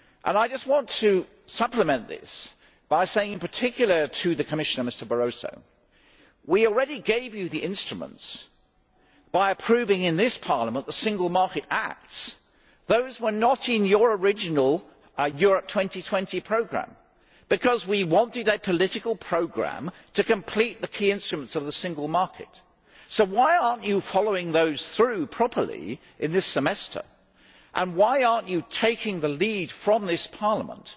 I just want to supplement this by saying, in particular to the Commission, to MrBarroso, that we already gave you the instruments by approving in this Parliament the single market acts which were not in your original Europe 2020 programme because we wanted a political programme to complete the key instruments of the single market, so why are you not following those through properly in this Semester? Why are you not taking the lead from this Parliament